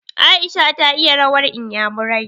Aisha ta iya rawar inyamurai.